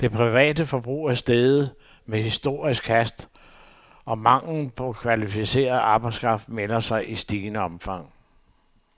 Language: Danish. Det private forbrug er steget med historisk hast, og manglen på kvalificeret arbejdskraft melder sig i stigende omfang.